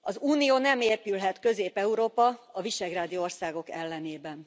Az unió nem épülhet Közép Európa, a visegrádi országok ellenében.